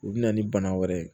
U bɛ na ni bana wɛrɛ ye